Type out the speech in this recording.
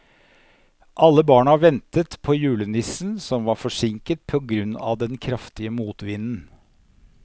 Alle barna ventet på julenissen, som var forsinket på grunn av den kraftige motvinden.